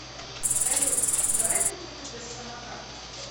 салют давай ты мне купишь самокат